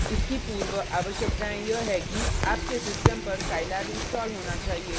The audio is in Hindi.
इसकी पूर्व आवश्यकतायें यह है कि आपके सिस्टम पर scilab इंस्टॉल होना चाहिए